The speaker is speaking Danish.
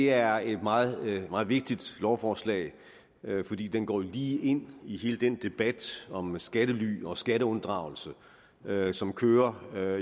er et meget meget vigtigt lovforslag fordi det går lige ind i hele den debat om skattely og skatteunddragelse som kører